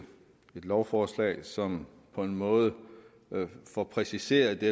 et lovforslag som på en måde får præciseret det